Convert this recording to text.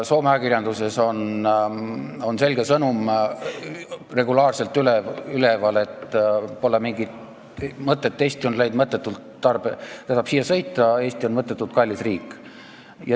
Soome ajakirjanduses on selge sõnum regulaarselt üleval: pole mingit mõtet Eestisse sõita, Eesti on mõttetult kallis riik.